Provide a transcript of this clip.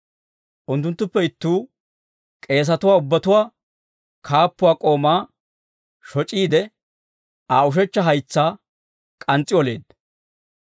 Unttunttuppe ittuu, K'eesatuwaa ubbatuwaa kaappuwaa k'oomaa shoc'iide, Aa ushechcha haytsaa k'ans's'i oleedda.